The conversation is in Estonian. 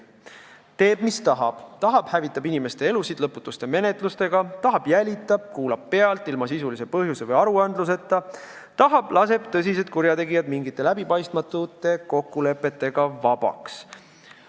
Ta teeb, mis tahab: kui tahab, hävitab inimeste elusid lõputute menetlustega, kui tahab, jälitab ja kuulab pealt ilma sisulise põhjuse või aruandluseta, kui tahab, laseb tõsised kurjategijad mingite läbipaistmatute kokkulepete alusel vabaks.